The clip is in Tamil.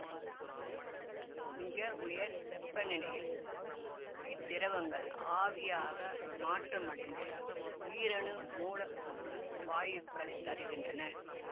மிகவுயர் வெப்பநிலையில் இத்திரவங்கள் ஆவியாக மாற்றமடைந்து ஈரணு மூலக்கூற்று வாயுக்களைத் தருகின்றன